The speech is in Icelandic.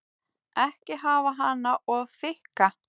Ekki hafa hana of þykka.